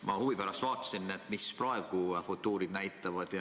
Ma huvi pärast vaatsin, mida praegu futuurid näitavad.